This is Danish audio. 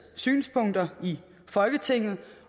synspunkter i folketinget